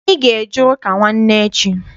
Anyị ga- eje ụka nwanne echi.